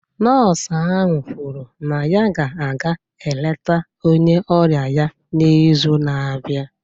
Nọọsụ ahụ kwuru na ya ga-aga eleta onye ọrịa ya n’izu na-abịa.